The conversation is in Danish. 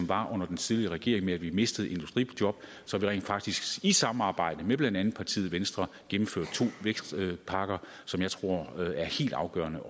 var under den tidligere regering da vi mistede industrijob så vi rent faktisk i samarbejde med blandt andet partiet venstre gennemførte to vækstpakker som jeg tror er helt afgørende